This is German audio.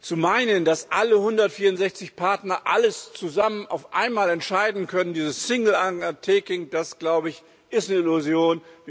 Zu meinen, dass alle 164 Partner alles zusammen auf einmal entscheiden können, dieses single undertaking, das glaube ich, ist eine Illusion.